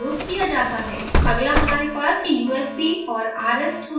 अगला हमारे पास usb और rs232 ब्लॉक्स हैं